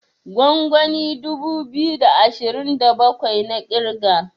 gwangwani dubu biyu da ashirin da bakwai na kirga